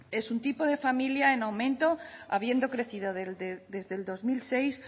es un tipo de familia en aumento habiendo crecido desde el dos mil dieciséis